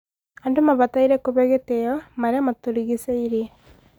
andũ mabataire kũhe gĩtio maria matũrigicĩĩrie